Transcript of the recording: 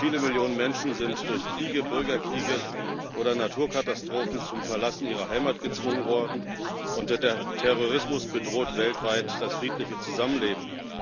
Viele Millionen Menschen sind durch Kriege, Bürgerkriege oder Naturkatastrophen zum Verlassen ihrer Heimat gezwungen worden, und der Terrorismus bedroht weltweit das friedliche Zusammenleben.